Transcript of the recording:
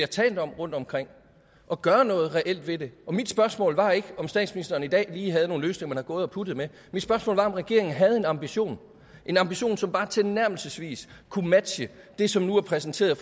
talt om rundtomkring og gøre noget reelt ved det og mit spørgsmål var ikke om statsministeren i dag lige havde nogle løsninger gået og puttet med mit spørgsmål var om regeringen havde en ambition en ambition som bare tilnærmelsesvis kunne matche det som nu er præsenteret